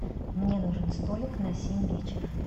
мне нужен столик на семь вечера